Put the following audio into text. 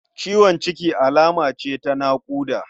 Ciwon ciki alama ce ta naƙuda.